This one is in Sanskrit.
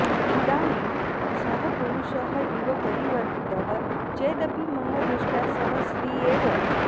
इदानीं सः पुरुषः इव परिवर्तितः चेदपि मम दृष्ट्या सः स्त्री एव